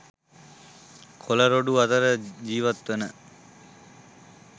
කොළ රොඩු අතර ජීවත් වන